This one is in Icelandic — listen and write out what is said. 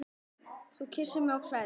Þú kyssir mig og klæðir.